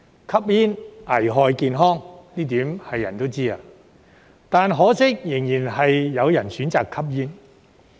吸煙危害健康，這一點人人都知，但可惜仍然有人選擇吸煙。